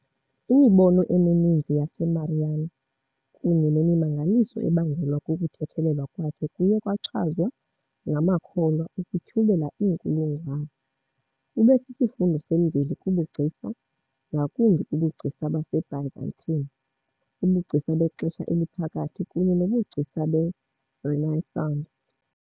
Imibono emininzi yaseMarian kunye nemimangaliso ebangelwa kukuthethelelwa kwakhe kuye kwachazwa ngamakholwa ukutyhubela iinkulungwane. Ube sisifundo semveli kubugcisa, ngakumbi kubugcisa baseByzantine, ubugcisa bexesha eliphakathi kunye nobugcisa beRenaissance.